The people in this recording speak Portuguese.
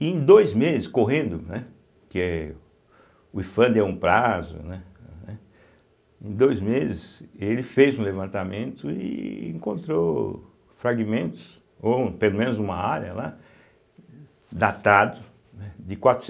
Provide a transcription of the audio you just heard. E em dois meses, correndo, né, que é o ifam deu um prazo, né, eh, né, em dois meses ele fez um levantamento e encontrou fragmentos, ou pelo menos uma área lá, datado né de